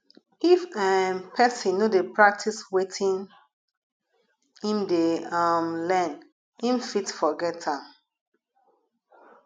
if um persin no de practice wetin im de um learn im fit forget am